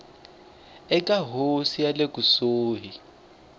eka hofisi ya le kusuhani